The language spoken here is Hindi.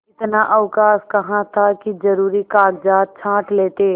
इतना अवकाश कहाँ था कि जरुरी कागजात छॉँट लेते